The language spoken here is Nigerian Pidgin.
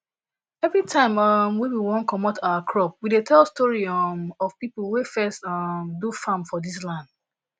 every time um wey we wan comot our crop we dey tell story um of people wey first um do farm for this land